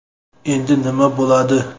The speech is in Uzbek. Endi nima bo‘ladi?.